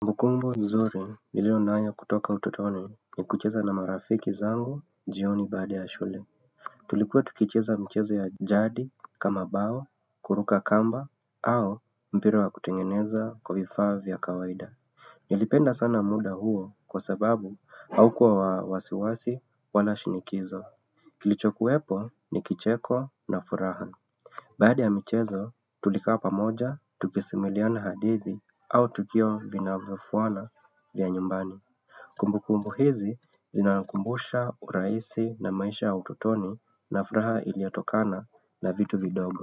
Kumbukumbu nzuri nilionayo kutoka utotoni ni kucheza na marafiki zangu jioni baada ya shule. Tulikuwa tukicheza mchezo ya jadi kama bao, kuruka kamba, au mpira wa kutengeneza kwa vifaa vya kawaida. Nilipenda sana muda huo kwa sababu haukua wa wasiwasi wala shinikizo. Kilichokuwepo ni kicheko na furaha. Baada ya michezo tulikaa pamoja tukisimuliana hadithi au tukio vinavyofuana vya nyumbani. Kumbukumbu hizi zinanikumbusha uraisi na maisha ya utotoni na furaha iliyotokana na vitu vidogo.